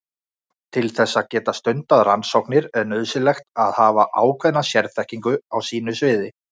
Til þess að geta stundað rannsóknir er nauðsynlegt að hafa ákveðna sérþekkingu á sínu sviði.